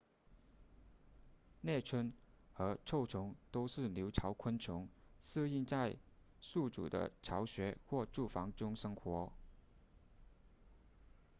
猎蝽和臭虫都是留巢昆虫适应在宿主的巢穴或住房中生活